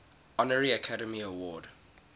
honorary academy award